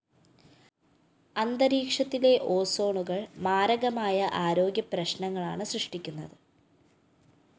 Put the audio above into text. അന്തരീക്ഷത്തിലെ ഓസോണുകള്‍ മാരകമായ ആരോഗ്യപ്രശ്‌നങ്ങളാണ് സൃഷ്ടിക്കുന്നത്